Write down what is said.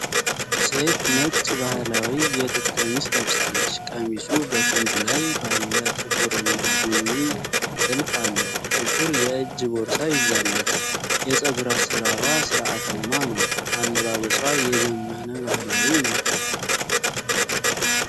ሴት ነጭ፣ ባህላዊ የጥጥ ቀሚስ ለብሳለች። ቀሚሱ በክንዱ ላይ ባለ ጥቁርና ቡኒ ትልፍ አለው። ጥቁር የእጅ ቦርሳ ይዛለች። የፀጉር አሠራሯ ሥርዓታማ ነው። አለባበሷ የዘመነ ባህላዊ ነው?